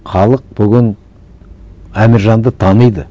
халық бүгін әміржанды таниды